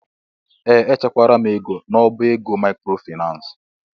Ee! Echekwara m ego n'ọbá ego maịkrofaịnans.